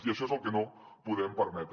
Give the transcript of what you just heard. i això és el que no podem permetre